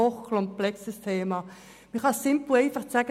Man kann es simpel und einfach sagen: